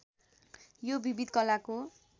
यो विविध कलाको